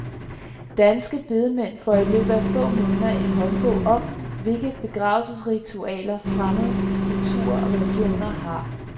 Danske bedemænd får i løbet af få måneder en håndbog om, hvilke begravelsesritualer fremmede kulturer og religioner har.